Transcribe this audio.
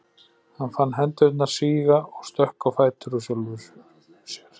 Hann fann hendurnar síga og stökk á fætur úr sjálfum sér.